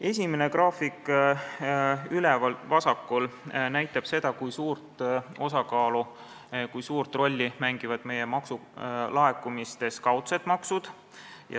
Esimene graafik üleval vasakul näitab seda, kui suurt rolli mängivad meie maksulaekumistes kaudsed maksud.